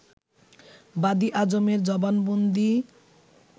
বাদী আজমের জবানবন্দি